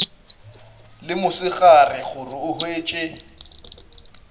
le mosegare gore o hwetše